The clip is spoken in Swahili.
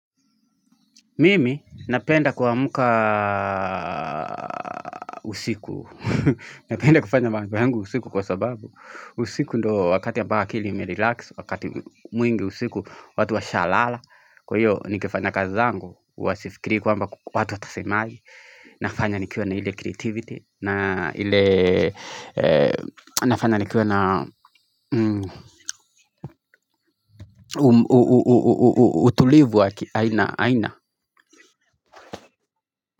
Mimi napenda kwamka usiku, napenda kufanya mambo yangu usiku kwa sababu, usiku ndo wakati ambayo akiili imerelax, wakati mwingi usiku watu washalala, kwa hiyo nikifanya kazi zangu, uwasifikiri kwamba watu watasemaji, nafanya nikiona ile creativity, nafanya nikiwa na utulivu aina.